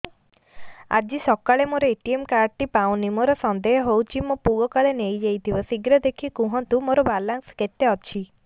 ଆଜି ସକାଳେ ମୋର ଏ.ଟି.ଏମ୍ କାର୍ଡ ଟି ପାଉନି ମୋର ସନ୍ଦେହ ହଉଚି ମୋ ପୁଅ କାଳେ ନେଇଯାଇଥିବ ଶୀଘ୍ର ଦେଖି କୁହନ୍ତୁ ମୋର ବାଲାନ୍ସ କେତେ ଅଛି